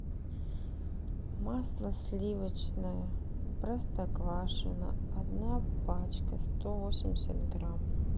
масло сливочное простоквашино одна пачка сто восемьдесят грамм